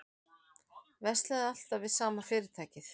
Verslaði alltaf við sama fyrirtækið